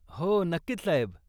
हो नक्कीच, साहेब.